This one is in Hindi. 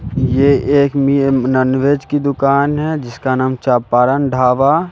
ये एक मि नॉनवेज की दुकान है जिसका नाम चंपारन ढाबा।